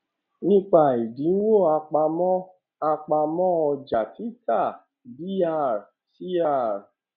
nípa ẹdínwó àpamọ àpamọ ọjà títà dr cr